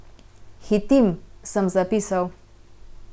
Hitim, sem zapisal.